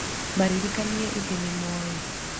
maririkanĩe ĩthĩ nĩmoĩ